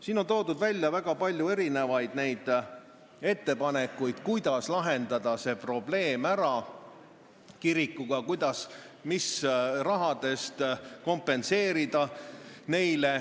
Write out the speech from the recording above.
Siin on toodud välja väga palju erinevaid ettepanekuid, kuidas lahendada ära see probleem, kuidas ja mis rahast kompenseerida.